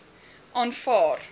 aanvaar